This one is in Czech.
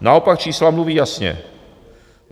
Naopak čísla mluví jasně.